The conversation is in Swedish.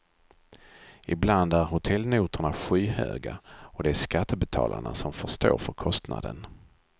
Ibland är hotellnotorna skyhöga och det är skattebetalarna som får stå för kostnaden.